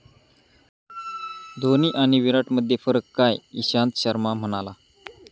धोनी आणि विराटमध्ये फरक काय? इशांत शर्मा म्हणाला...